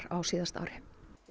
á síðasta ári